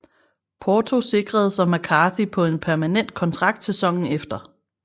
Porto sikrede sig McCarthy på en permanent kontrakt sæsonen efter